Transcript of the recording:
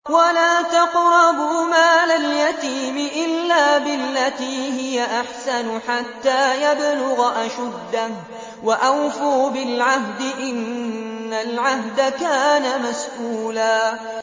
وَلَا تَقْرَبُوا مَالَ الْيَتِيمِ إِلَّا بِالَّتِي هِيَ أَحْسَنُ حَتَّىٰ يَبْلُغَ أَشُدَّهُ ۚ وَأَوْفُوا بِالْعَهْدِ ۖ إِنَّ الْعَهْدَ كَانَ مَسْئُولًا